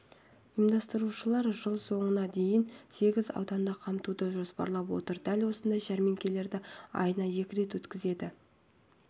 ұйымдастырушылар жыл соңына дейін сегіз ауданды қамтуды жоспарлап отыр дәл осындай жәрмеңкелерді айына екі рет өткізеді